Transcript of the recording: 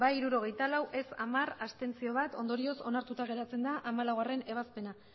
bai hirurogeita lau ez hamar abstentzioak bat ondorioz onartuta geratzen da hamalaugarrena ebazpena